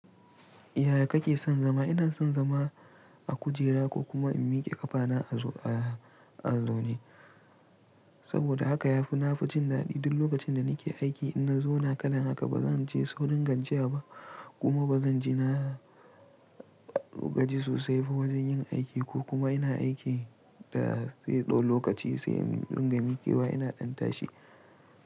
Yaya kake son zama? Ina son zama a kujera ko kuma in miƙe ƙafana a, a, a zone. Saboda haka yafi nafi jin daɗi duk lokacin da nake aiki idan na zo na kalan haka ba zan ji tsaunin gajiyaba kuma ba zan ji na gaji sosai ba wajen yin aiki ko kuma ina aiki da sai ɗo lokaci sai in gama miƙewa ina ɗan tashi.